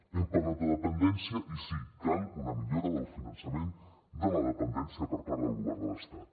hem parlat de dependència i sí cal una millora del finançament de la dependència per part del govern de l’estat